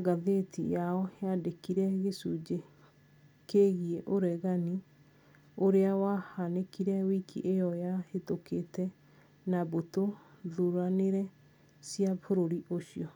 ngathĩti yao yandĩkire gĩcunjĩ kĩgiĩ ũregani ũrĩa wahanĩkire wiki ĩyo yahĩtũkũte na mbũtũ thuranĩre cĩa bũrũri ũcio